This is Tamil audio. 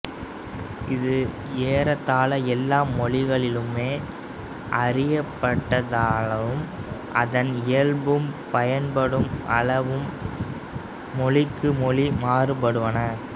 இது ஏறத்தாழ எல்லா மொழிகளிலுமே அறியப்பட்டதானாலும் அதன் இயல்பும் பயன்படும் அளவும் மொழிக்கு மொழி மாறுபடுவன